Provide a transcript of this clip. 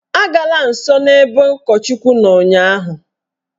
Agala nsọ n'ebe ụkọchukwu nọ ụnyaahụ!